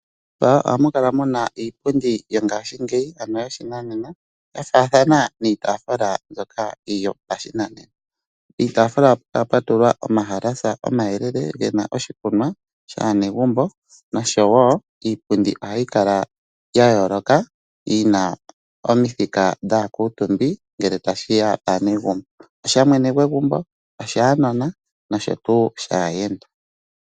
Momagumbo ohamu kala muna iipundi yoshinanena ano yongaashingeyi ya faathana niitaafula mbyoka yopashinanena. Pitaafula ohapu kala pwatulwa omayalasa omayelele ga tulwa oshikunwa shaanegumbo noshowo iipundi ohayi kala ya yooloka yina omithika dhaakuutumbi ngele tashiya paanegumbo. Osha mwene gwegumbo, oshaanona noshowo shaayenda.